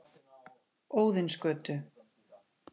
Óðinsgötu